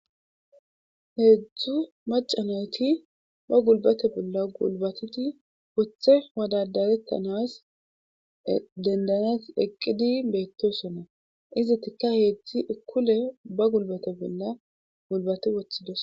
Heedzdzu macanayti ba gulbate bolla gulbatiti woththe wadadarettanas dendanes eqqidi beettosonna izitikka heedzdzi ikkule ba gulbate bolla gulbati woththidos.